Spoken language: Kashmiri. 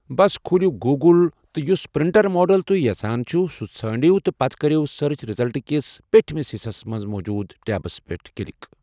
بس کھوٗلِو گوگل تہٕ یُس پرنٹر ماڈل تُہۍ یژھان چھِو سُہ ژھٲرِو تہٕ پتہِ کٔرِو سٔرٕچ رِزلٹہٕ کِس پٮ۪ٹھمِس حصس منٛز موٗجوٗد ٹیبس پٮ۪ٹھ کِلک۔